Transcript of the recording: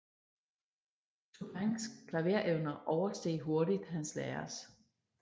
Chopins klaverevner oversteg hurtigt hans lærers